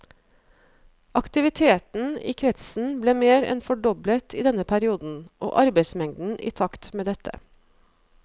Aktiviteten i kretsen ble mer enn fordoblet i denne perioden, og arbeidsmengden i takt med dette.